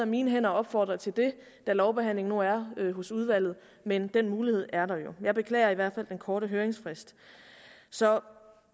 mine hænder at opfordre til det da lovbehandlingen nu er hos udvalget men den mulighed er der jo jeg beklager i hvert fald den korte høringsfrist så